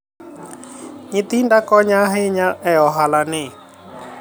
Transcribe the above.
nyithinda konya ahinya e ohala ni